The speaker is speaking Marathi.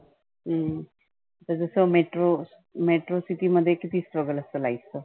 हम्म जस जसं metro Metro city मध्ये किती struggle असतं life चं